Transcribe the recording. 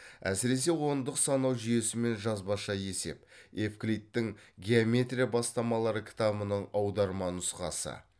әсіресе ондық санау жүйесі мен жазбаша есеп евклидтің геометрия бастамалары кітабының аударма нұсқасы